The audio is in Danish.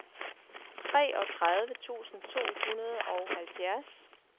treogtredive tusind to hundrede og halvfjerds